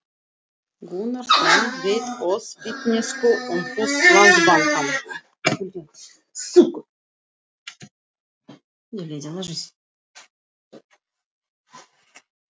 Gunnarsson veitt oss vitneskju um hús Landsbankans.